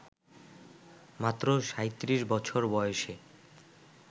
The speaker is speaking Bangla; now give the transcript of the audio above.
মাত্র ৩৭ বছর বয়সে